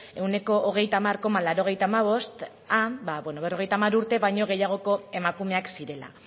ehuneko hogeita hamar koma laurogeita hamabost berrogeita hamar urte baino gehiagoko emakumeak zirela